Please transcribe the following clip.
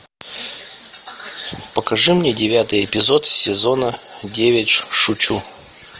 покажи мне девятый эпизод сезона девять шучу